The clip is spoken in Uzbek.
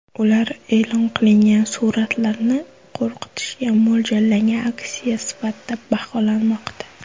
Ular e’lon qilingan suratlarni qo‘rqitishga mo‘ljallangan aksiya sifatida baholamoqda.